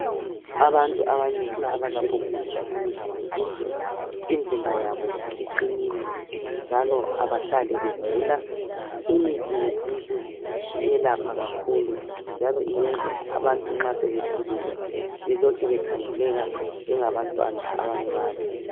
Abantu abanengi abasebenzisa imithi yesiNtu imizimba yabo iqinile njalo abahlali begula. Imithi yesintu iyelapha kakhulu njalo iyenza abantu nxa sebekhulile bakhangeleke njengabantu abancane.